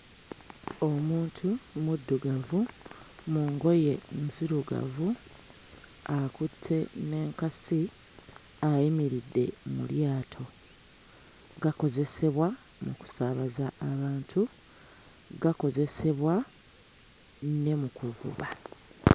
Omuntu omuddugavu mu ngoye nzirugavu akutte n'enkasi ayimiridde mu lyato. Gakozesebwa mu kusaabaza abantu, gakozesebwa ne mu kuvuba.